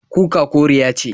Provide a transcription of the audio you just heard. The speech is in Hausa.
Kuka koriya ce.